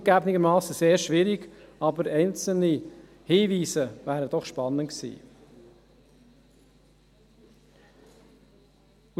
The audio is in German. Zugegeben, dies wäre sehr schwierig, aber einzelne Hinweise wären doch spannend gewesen.